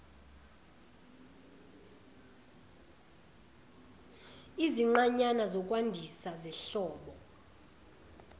izinqanyana zokwandisa zenhlobo